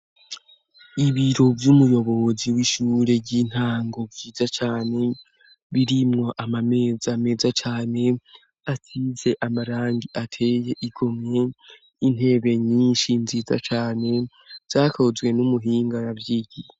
Ibiro vy'umuyobozi w'ishure ry'intango vyiza cane, birimwo amameza meza cane, asize amarangi ateye igomwe n'intebe nyinshi nziza cane, vyakozwe n'umuhinga yavyigiye.